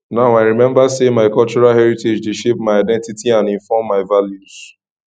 now i remember say my cultural heritage dey shape my identity and inform my values